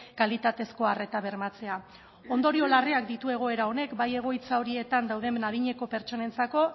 kalitatezko arreta bermatzea ondorio larreak ditu egoera honek bai egoitza horietan dauden adineko pertsonentzako